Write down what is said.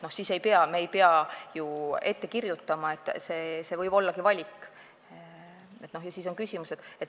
Siis ei pea me seda ette kirjutama, see võib ollagi valik.